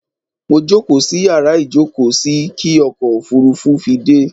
Mo jókóò sí yàrá ìjókóò sí kí ọkò òfurufú fi dẹ́